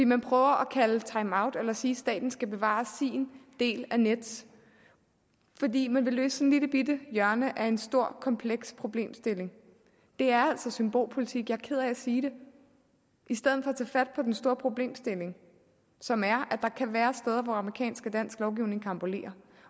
man prøver at kalde til timeout eller sige at staten skal bevare sin del af nets fordi man vil løse lillebitte hjørne af en stor kompleks problemstilling det er altså symbolpolitik jeg er ked af at sige det i stedet for at tage fat på den store problemstilling som er at der kan være steder hvor amerikansk og dansk lovgivning karambolerer